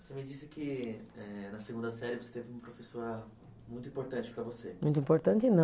Você me disse que eh, na segunda série você teve uma professora muito importante para você. Muito importante não.